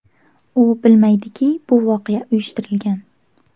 U bilmaydiki bu voqea uyushtirilgan.